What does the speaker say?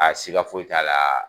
A siga foyi t'a laa